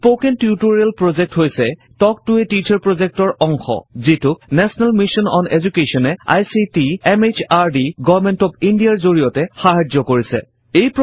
spoken tutorial project হৈছে talk to a teacher project ৰ অংশ যিটোক নেশ্যনেল মিছন অন Education এ ICT MHRD government of India ৰ জড়িয়তে সাহাৰ্য কৰিছে